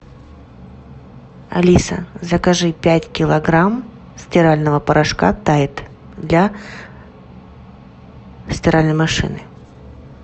алиса закажи пять килограмм стирального порошка тайд для стиральной машины